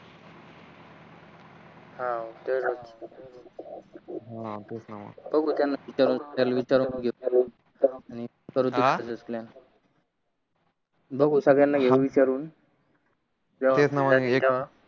हा बघू सगद्याना घेऊन विचारून